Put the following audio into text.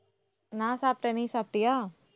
நான் சாப்பிட்டேன் நீ சாப்பிட்டியா